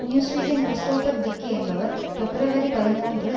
நியூஸ்வீக்கின் Christopher Dickey என்பவர் February பதிமூன்று